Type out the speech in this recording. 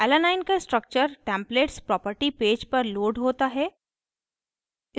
alanine alanine का structure templates property page पर लोड होता है